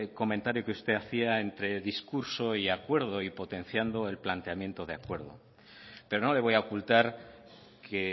comentario que usted hacía entre discurso y acuerdo y potenciando el planteamiento de acuerdo pero no le voy a ocultar que